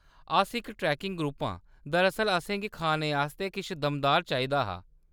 अस इक trekking group आं ; दरअसल असेंगी खाने आस्तै किश दमदार चाहिदा हा।